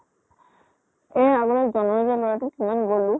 এই আমাৰ জʼনৰ যে লʼৰাটো ইমান গলো।